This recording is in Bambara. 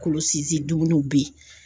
Kolo sinsinnenw be yen.